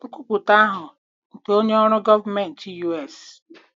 Nkwupụta ahụ nke onye ọrụ gọọmentị U.S.